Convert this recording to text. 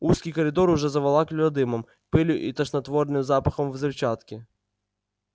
узкий коридор уже заволакивало дымом пылью и тошнотворным запахом взрывчатки